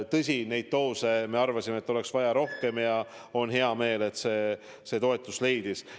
Tõsi, neid doose on meie arvates vaja rohkem, aga on hea meel, et see toetust leidis.